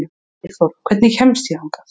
Eyþóra, hvernig kemst ég þangað?